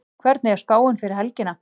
hvernig er spáin fyrir helgina